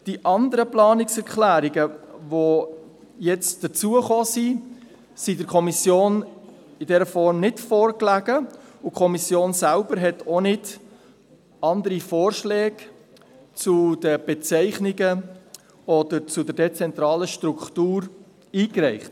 Die anderen Planungserklärungen, die jetzt hinzugekommen sind, lagen der Kommission in dieser Form nicht vor, und die Kommission selber hat auch nicht andere Vorschläge zu den Bezeichnungen oder zur dezentralen Struktur eingereicht.